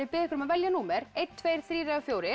biðja ykkur að velja númer eins tveggja þrjú eða fjórða